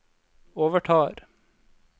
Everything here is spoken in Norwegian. overtar